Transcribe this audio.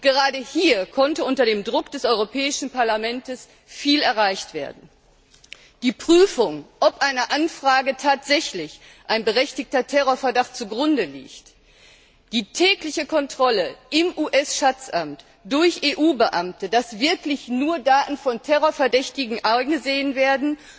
Gerade hier konnte unter dem Druck des Europäischen Parlaments viel erreicht werden die Prüfung, ob einer Anfrage tatsächlich ein berechtigter Terrorverdacht zugrunde liegt, die tägliche Kontrolle im US Schatzamt durch EU Beamte, dass wirklich nur Daten von Terrorverdächtigen eingesehen werden,